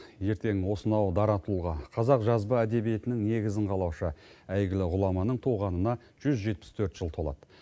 ертең осынау дара тұлға қазақ жазба әдебиетінің негізін қалаушы әйгілі ғұламаның туғанына жүз жетпіс төрт жыл толады